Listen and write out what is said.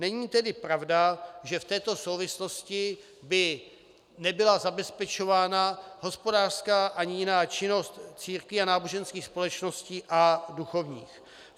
Není tedy pravda, že v této souvislosti by nebyla zabezpečována hospodářská ani jiná činnost církví a náboženských společností a duchovních.